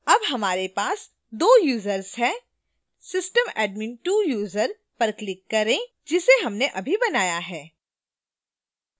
अब हमारे पास 2 users हैं system admin2 user पर click करें जिसे हमने अभी बनाया है